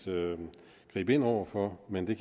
gribe ind over for men det